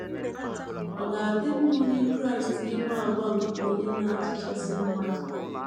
Ọ̀ ga - adị mma onye Kraịst inwe àgwà nke Onye Na - atụchasị Mmadụ?